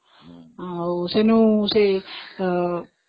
ଆଉ ସେ